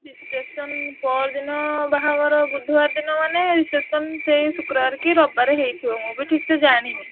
Reception ପଅର ଦିନ ବାହାଘର ବୁଧୁବାର ଦିନ ମାନେ reception ସେଇ ଶୁକ୍ରବାରେ କି ରବିବାରେ ହେଇଥିବ ମୁଁ ବି ଠିକ୍ ସେ ଜାଣିନି।